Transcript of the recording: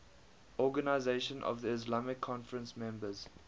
organisation of the islamic conference members